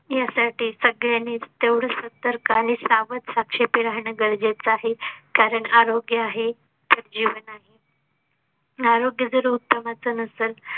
यासाठी सगळ्यांनीच तेवढेच सतर्क आणि सावध साक्षेपी राहणं गरजेचं आहे. कारण आरोग्या आहे तर जीवन आहे. आरोग्य तर उत्तमच नसेल